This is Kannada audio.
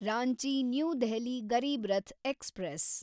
Ranchi new Delhi Garib Rath express